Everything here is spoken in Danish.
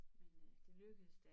Men øh det lykkedes da